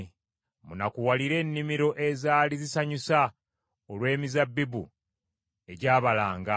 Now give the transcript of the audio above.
Munakuwalire ennimiro ezaali zisanyusa, olw’emizabbibu egyabalanga,